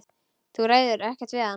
Þú ræður ekkert við hann.